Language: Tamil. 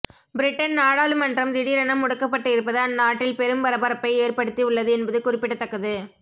பிரிட்டன் நாடாளுமன்றம் திடீரென முடக்கப்பட்டு இருப்பது அந்நாட்டில் பெரும் பரபரப்பை ஏற்படுத்தி உள்ளது என்பது குறிப்பிடத்தக்கது